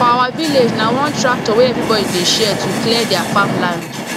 for our village na one tractor wey everybody dey share to clear their farm land